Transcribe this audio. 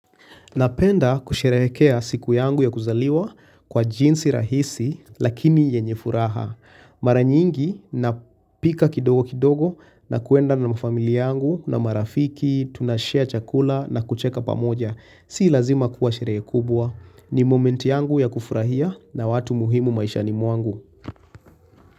Napenda kusherehekea siku yangu ya kuzaliwa kwa jinsi rahisi lakini yenye furaha. Mara nyingi na pika kidogo kidogo na kuenda na familia yangu na marafiki, tunashea chakula na kucheka pamoja. Si lazima kuwa sherehe kubwa. Ni momenti yangu ya kufurahia na watu muhimu maishani mwangu.